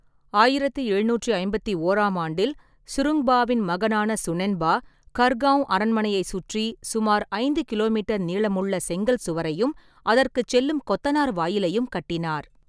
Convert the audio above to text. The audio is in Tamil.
ஆயிரத்து எழுநூற்று ஐம்பத்தி ஓறாம் ஆண்டில் சுருங்பாவின் மகனான சுனென்பா, கர்கவுன் அரண்மனையைச் சுற்றி சுமார் ஐந்து கிலோமீட்டர் நீளமுள்ள செங்கல் சுவரையும் அதற்குச் செல்லும் கொத்தனார் வாயிலையும் கட்டினார்.